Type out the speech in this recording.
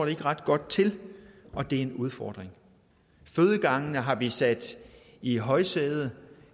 ikke ret godt til og det er en udfordring fødegangene har vi sat i højsædet